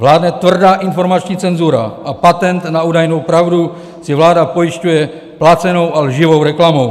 Vládne tvrdá informační cenzura a patent na údajnou pravdu si vláda pojišťuje placenou a lživou reklamou.